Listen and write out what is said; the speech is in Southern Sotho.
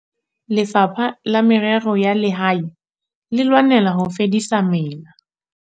Lefapha la Merero ya Lehae le lwanela ho fedisa mela.